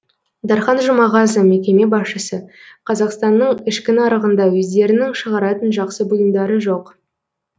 дархан жұмағазы мекеме басшысы қазақстанның ішкі нарығында өздерінің шығаратын жақсы бұйымдары жоқ